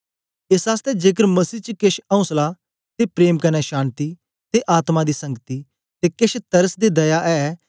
एस आसतै जेकर मसीह च केछ औसला ते प्रेम कन्ने शान्ति ते आत्मा दी संगति ते केछ तरस ते दया ऐ